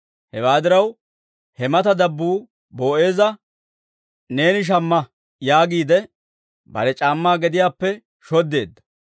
Hewaa diraw, he mata dabbuu Boo'eeza, «Neeni shamma» yaagiide, bare c'aammaa gediyaappe shoddeedda.